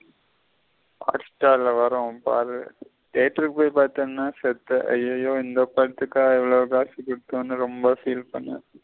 Hotstar ல வரும் பாரு theatre க்கு பாத்தன செத்த அய்யயோ இந்த படத்துக்கா இவ்வளவு காசு குடுத்தோனு ரொம்ப feel பன்னுவ.